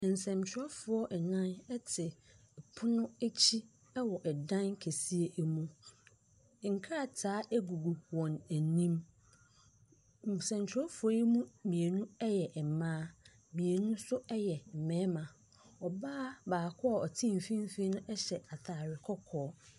Nsɛntwerɛfoɔ nnan te pono akyi wɔ dan kɛseɛ mu. Nkrataa gugu wɔn anim. Nsɛntwerɛfoɔ yi mu mmienu yɛ mmaa. Mmienu nso yɛ mmarima. Ɔbaa baako a ɔte mfimfininohyɛ atadeɛ kɔkɔɔ.